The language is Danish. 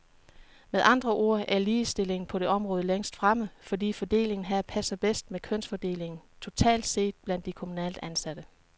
Med andre ord er ligestillingen på det område længst fremme, fordi fordelingen her passer bedst med kønsfordelingen totalt set blandt de kommunalt ansatte.